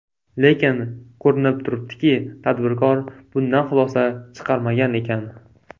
Lekin, ko‘rinib turibdiki, tadbirkor bundan xulosa chiqarmagan ekan.